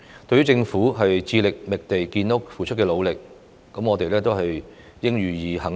對於政府致力覓地建屋所付出的努力，我們應予肯定。